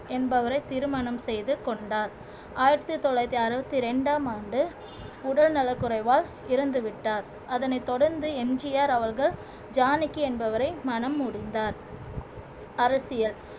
என்பவரை திருமணம் செய்து கொண்டார் ஆயிரத்தி தொள்ளாயிரத்தி அறுபத்தி இரண்டாம் ஆண்டு உடல்நலக்குறைவால் இறந்துவிட்டார் அதனைத் தொடர்ந்து எம் ஜி ஆர் அவர்கள் ஜானகி என்பவரை மணம் முடிந்தார் அரசியல்